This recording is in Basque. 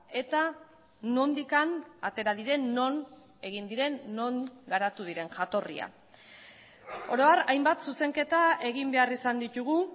eta nondik atera diren non egin diren non garatu diren jatorria oro har hainbat zuzenketa egin behar izan ditugu